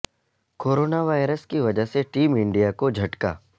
corona virus کی وجہ سے ٹیم انڈیا کو جھٹکا